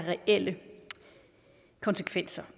reelle konsekvenser